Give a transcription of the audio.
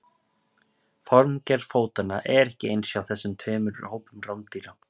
formgerð fótanna er ekki eins hjá þessum tveimur hópum rándýra